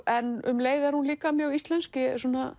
en um leið er hún líka mjög íslensk ég